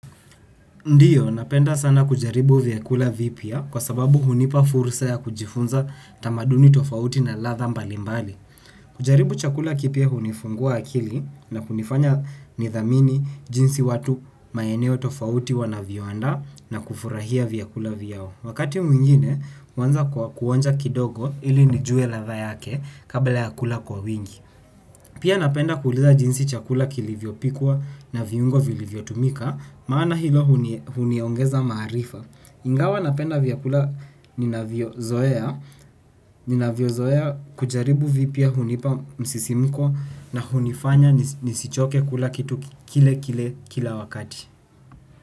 Ndio, napenda sana kujaribu vyakula vipya kwa sababu hunipa fursa ya kujifunza tamaduni tofauti na ladha mbalimbali. Kujaribu chakula kipya hunifungua akili na kunifanya nidhamini jinsi watu maeneo tofauti wanavyoadaa na kufurahia vyakula vyao wakati mwingine huanza kwa kuoja kidogo ili nijue ladha yake kabla ya kula kwa wingi. Pia napenda kuuliza jinsi chakula kilivyopikwa na viungo vilivyotumika, maana hilo huniongeza maarifa. Ingawa napenda vyakula ninavyozoea, ninavyozoea kujaribu vipya hunipa msisimiko na hunifanya nisichoke kula kitu kile kile kila wakati.